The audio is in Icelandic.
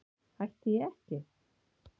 Hætti ég ekki?